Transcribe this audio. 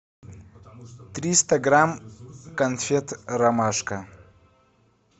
триста грамм конфет ромашка